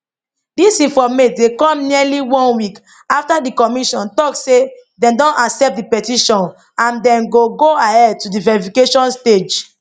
dis informate dey come nearly one week afta di commission tok say dem don accept di petition and dem go go ahead to di verification stage